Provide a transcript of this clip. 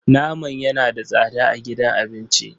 Naman yana da tsada a gidan abinci.